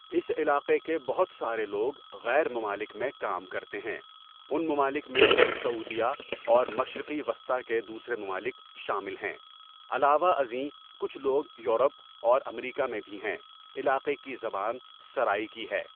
اس علاقہ کے بہت سارے لوگ غیر ممالک میں کام کرتے ھیں ان ممالک ميں سعوديہ اور مشرق وسطٰی کے دوسرے ممالک شامل ھيں علاوہ ازیں کچہ لوگ یورپ اور امریکا میں بھی ھیں علاقہ کی زبان سرائیکی ہے.